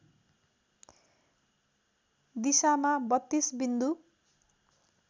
दिशामा ३२ बिन्दु